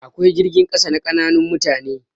Akwai jirgin sama na ƙananan mutane.